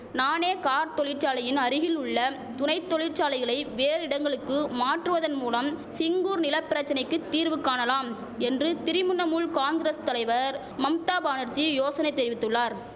நானே கார் தொழிற்சாலையின் அருகிலுள்ள துணை தொழிற்சாலைகளை வேறு இடங்களுக்கு மாற்றுவதன் மூலம் சிங்கூர் நில பிரச்சனைக்கு தீர்வு காணலாம் என்று திரிமுண்ணமுல் காங்குரஸ் தலைவர் மம்தா பானர்ஜீ யோசனை தெரிவித்துள்ளார்